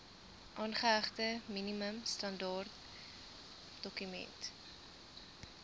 aangehegte minimum standaardedokument